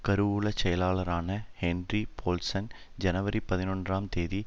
கருவூல செயலாளரான Henry Paulson ஜனவரி பதினொன்றாம் தேதி